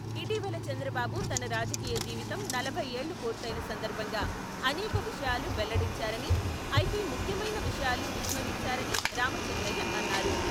ఇటీవల చంద్రబాబు తన రాజకీయ జీవితం నలభై ఏళ్ళుపూర్తయిన సందర్భంగా అనేక విషయాలు వెల్లడించారని, అయితే ముఖ్యమైన విషయాలు విస్మరించారని రామచంద్రయ్య అన్నారు.